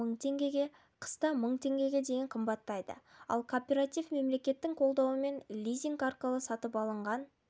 мың теңге қыста мың теңгеге дейін қымбаттайды ал кооператив мемлекеттің қолдауымен лизинг арқылы сатып алынған